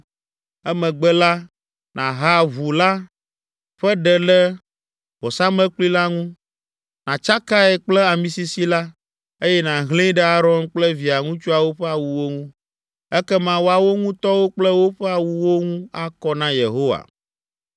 Emegbe la, nàha ʋu la ƒe ɖe le vɔsamlekpui la ŋu, nàtsakae kple amisisi la, eye nàhlẽe ɖe Aron kple via ŋutsuawo ƒe awuwo ŋu. Ekema woawo ŋutɔwo kple woƒe awuwo ŋu akɔ na Yehowa.